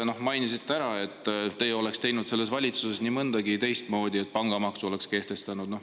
Te mainisite, et teie oleksite teinud selles valitsuses nii mõndagi teistmoodi, pangamaksu oleks kehtestanud.